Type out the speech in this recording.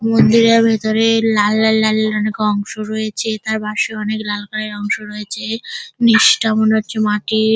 মন্দিরের ভেতরে লাল লাল লাল লাল অনেক অংশ রয়েছে তার পাশে অনেক লাল কালার এর অংশ রয়েছে নিচটা মনে হচ্ছে মাটির।